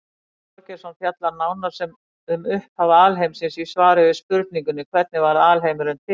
Tryggvi Þorgeirsson fjallar nánar um upphaf alheimsins í svari við spurningunni Hvernig varð alheimurinn til?